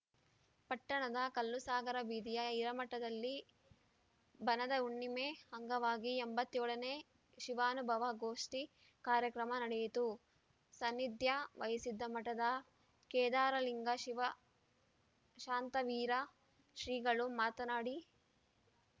ಪಟ್ಟಣದ ಕಲ್ಲುಸಾಗರ ಬೀದಿಯ ಹಿರೇಮಠದಲ್ಲಿ ಬನದ ಹುಣ್ಣಿಮೆ ಅಂಗವಾಗಿ ಎಂಬತ್ಯೋಳ ನೇ ಶಿವಾನುಭವ ಗೋಷ್ಠಿ ಕಾರ್ಯಕ್ರಮ ನಡೆಯಿತು ಸಾನ್ನಿಧ್ಯ ವಹಿಸಿದ್ದ ಮಠದ ಕೇದಾರಲಿಂಗ ಶಿವಶಾಂತವೀರ ಶ್ರೀಗಳು ಮಾತನಾಡಿ ಲಿಂ